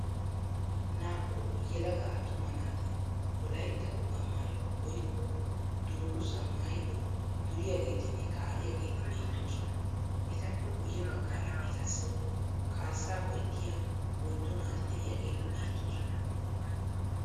Naa'u yelaga attuma naati wolayitta wogaa maayuwa woyikko dungguzaa maayidi duriyageetinne kaa'iyageeti beettoosona. Etappe guyye baggaara etassi kaassa ho'ettiya oyiddu naati de'iyageeti beettoosona.